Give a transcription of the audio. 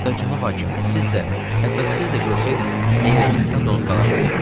Hətta Cənab hakim, siz də, hətta siz də görsəydiz heyrətinizdən donub qalardız.